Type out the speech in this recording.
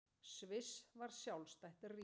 Sviss varð sjálfstætt ríki.